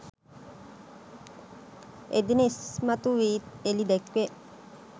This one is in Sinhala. එදින ඉස්මතු වී එළිදැක්වේ.